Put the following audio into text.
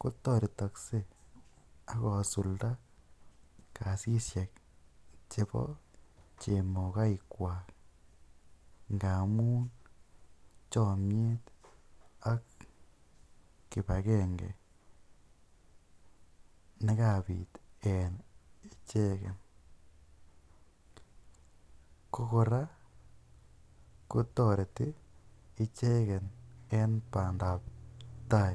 kotoretokse ak kosulda kasishek chebo chemokoikkwak, ngamun chomiet ak kipagenge ne kabit en icheget. Kokora kotoreti icheget en bandap tai.